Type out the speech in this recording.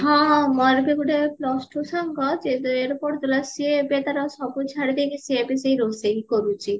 ହଁ ହଁ ମୋର ବି ଗୋଟେ plus two ସାଙ୍ଗ ପଢଉଥିଲ ସେ ଏବେ ତାର ସବୁ ଛାଡି ଦେଇକି ସିଏ ଏବେ ସେଇ ରୋଷେଇ କରୁଚି